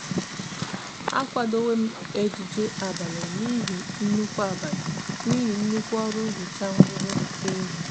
a kwadowom ejije abali nihi nnukwu abali nihi nnukwu oru nhicha nruru n'ehihie